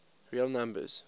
real numbers